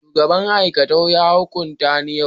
shugaban aikatau ya hukunta ni yau